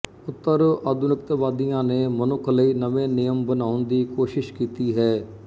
ਉਤਰਆਧੁਨਿਕਤਵਾਦੀਆਂ ਨੇ ਮਨੁੱਖ ਲਈ ਨਵੇਂ ਨਿਯਮ ਬਣਾਉਣ ਦੀ ਕੋਸਿ਼ਸ਼ ਕੀਤੀ ਹੈ